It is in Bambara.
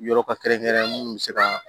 Yɔrɔ ka kɛrɛn kɛrɛn munnu bɛ se ka